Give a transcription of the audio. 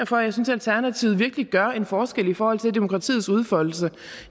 for jeg synes at alternativet virkelig gør en forskel i forhold til demokratiets udfoldelse